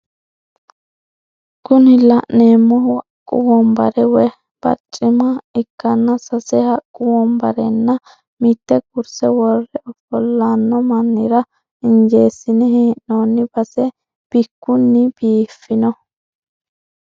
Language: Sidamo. Kuni la'neemohu haqqu wonbare woye barcima ikkanna sase haqqu wonbarenna mitte kurse worre ofolanno mannira injeesine he'noonni base bikkunni biifino.